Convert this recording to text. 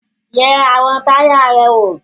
Yẹ àwọn táyà rẹ wò!